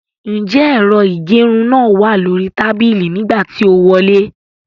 Ǹjẹ́ ẹ̀rọ ìgẹrun náà wà lóríi tàbíílì nígbà tí o wọlé?